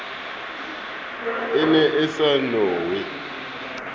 e ne e sa nowe